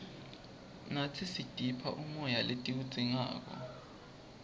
natsi sitipha umoya letiwudzingako